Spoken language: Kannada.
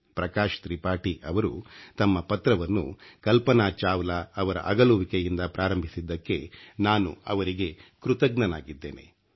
ಪ್ರಕಾಶ್ ತ್ರಿಪಾಠಿ ಅವರು ತಮ್ಮ ಪತ್ರವನ್ನು ಕಲ್ಪನಾ ಚಾವ್ಲಾ ಅವರ ಅಗಲುವಿಕೆಯಿಂದ ಪ್ರಾರಂಭಿಸಿದ್ದಕ್ಕೆ ನಾನು ಅವರಿಗೆ ಕೃತಜ್ಞನಾಗಿದ್ದೇನೆ